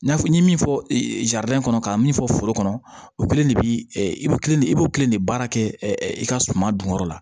N y'a fɔ n ye min fɔ in kɔnɔ ka min fɔ foro kɔnɔ o kelen de bi i bɛ kilen de i b'o kelen de baara kɛ i ka suman dun kɔrɔ la